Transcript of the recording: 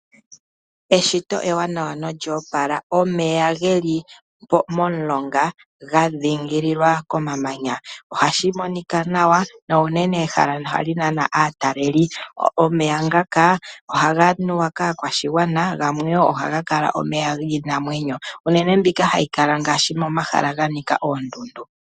Eshiti ewanawa na olya opala, omeya geli momulonga ga dhingililwa komamanya, ohashi monika nawa, uunene ehala hali nana aatalelipo. Omeya ngaka ohaga nuwa kaakwashigwana, gamwe wo ohaga kala omeya giinamwenyo uunene mbyoka hayi kala momahala ga nika oondundu.